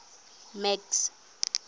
max